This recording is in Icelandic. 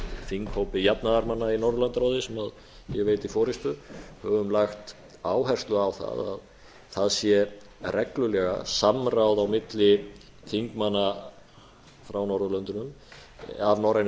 þinghópi jafnaðarmanna í norðurlandaráði sem ég veiti forustu höfum lagt áherslu á það að það sé reglulega samráð á milli þingmanna frá norðurlöndunum af norræna